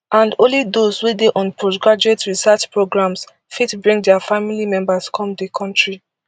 and only those wey dey on postgraduate research programmes fit bring dia family members come di kontri